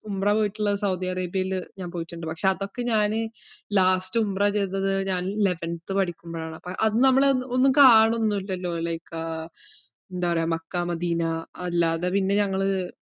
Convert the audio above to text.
ഉംറ വീട്ടല് സൗദി അറേബ്യയില് ഞാൻ പോയിട്ട്ണ്ട് പക്ഷേ അതൊക്കെ ഞാന് last ഉംറ ചെയ്തത് ഞാൻ eleventh പഠിക്കുമ്പോഴാണ്. അപ്പൊ അത് നമ്മള് ഒന്ന്~ ഒന്നും കാണുന്നൂല്ലല്ലോ like എന്താ പറയാ മക്കാ, മദീനാ അല്ലാതെ പിന്നെ ഞങ്ങള്